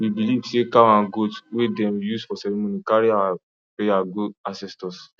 we believe say cow and goat wey dem use for ceremony carry our prayer go ancestors